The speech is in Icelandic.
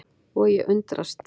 Og ég undrast.